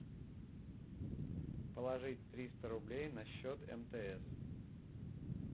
положить триста рублей на счет мтс